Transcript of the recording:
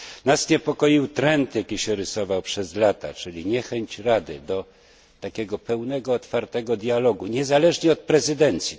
Nas niepokoił trend, jaki się rysował przez lata, czyli niechęć Rady do takiego pełnego, otwartego dialogu, niezależnie od prezydencji